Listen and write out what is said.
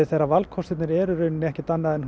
þegar valkostirnir eru ekkert annað en